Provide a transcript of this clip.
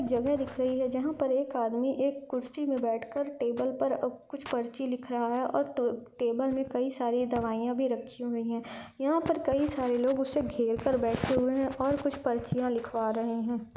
जगह दिख रही हैं जहां पर एक आदमी एक कुर्सी मे बैठ कर टेबल पर अ कुछ पर्ची लिख रहा है और ट टेबल मे कई सारी दवाइयां भी रखी हुई हैं यहां पर कई सारे लोग उसे घेर कर बैठे हुए है और कुछ पर्ची लिखवा रहे हैं।